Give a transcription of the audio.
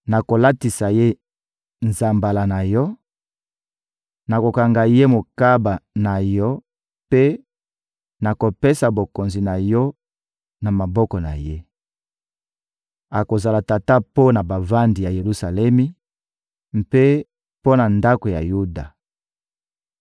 Nakolatisa ye nzambala na yo, nakokanga ye mokaba na yo mpe nakopesa bokonzi na yo na maboko na ye. Akozala tata mpo na bavandi ya Yelusalemi mpe mpo na ndako ya Yuda.